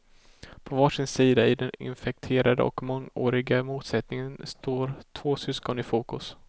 På varsin sida i den infekterade och mångåriga motsättningen står två syskon i fokus.